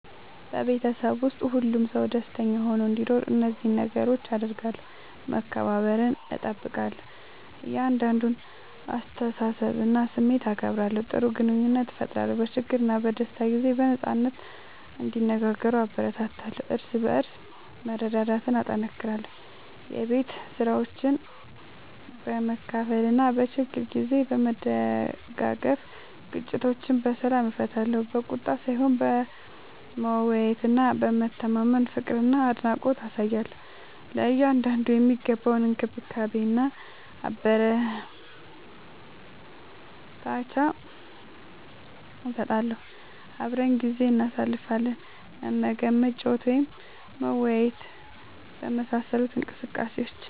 በቤተሰብ ውስጥ ሁሉም ሰው ደስተኛ ሆኖ እንዲኖር እነዚህን ነገሮች አደርጋለሁ፦ መከባበርን እጠብቃለሁ – የእያንዳንዱን አስተያየትና ስሜት አከብራለሁ። ጥሩ ግንኙነት እፈጥራለሁ – በችግርና በደስታ ጊዜ በነጻነት እንዲነጋገሩ እበረታታለሁ። እርስ በርስ መረዳዳትን እጠናክራለሁ – የቤት ስራዎችን በመካፈል እና በችግር ጊዜ በመደጋገፍ። ግጭቶችን በሰላም እፈታለሁ – በቁጣ ሳይሆን በመወያየትና በመተማመን። ፍቅርና አድናቆት አሳያለሁ – ለእያንዳንዱ የሚገባውን እንክብካቤና አበረታቻ እሰጣለሁ። አብረን ጊዜ እናሳልፋለን – መመገብ፣ መጫወት ወይም መወያየት በመሳሰሉ እንቅስቃሴዎች።